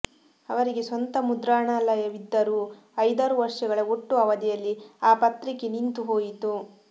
ಅವರಿಗೆ ಸ್ವಂತ ಮುದ್ರಣಾಲಯವಿದ್ದರೂ ಐದಾರು ವರ್ಷಗಳ ಒಟ್ಟು ಅವಧಿಯಲ್ಲಿ ಆ ಪತ್ರಿಕೆ ನಿಂತು ಹೋಯಿತು